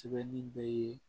Sɛbɛnni bɛ